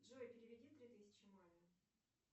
джой переведи три тысячи маме